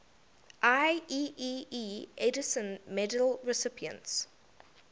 ieee edison medal recipients